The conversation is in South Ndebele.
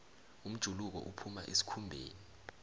umjuluko uphuma esikhumbeni